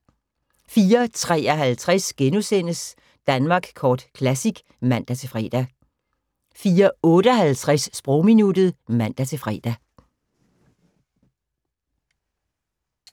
04:53: Danmark Kort Classic *(man-fre) 04:58: Sprogminuttet (man-fre)